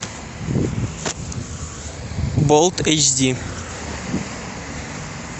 болт эйч ди